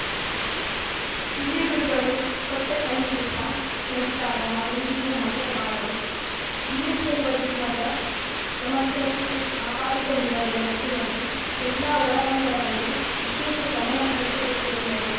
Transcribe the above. ಹಿರಿಯ ಗುರುಗಳು ಕೊಟ್ಟಸಂದೇಶ ಸಂಸ್ಕಾರ ನಾವೆಂದಿಗೂ ಮರೆಯಬಾರದು ವೀರಶೈವ ಧರ್ಮದ ಸಮಗ್ರತೆ ಕಾಪಾಡಿಕೊಂಡು ಬರುವ ನಿಟ್ಟಿನಲ್ಲಿ ಎಲ್ಲ ಒಳ ಪಂಗಡಗಳೂ ವಿಶೇಷ ಗಮನ ಹರಿಸಬೇಕು ಎಂದರು